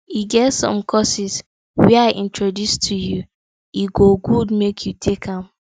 e get some courses wey i introduce to you e go good make you take am